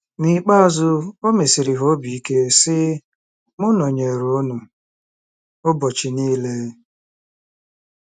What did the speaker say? N’ikpeazụ, o mesiri ha obi ike, sị: “M nọnyeere unu ụbọchị niile .”